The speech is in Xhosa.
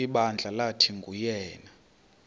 ibandla lathi nguyena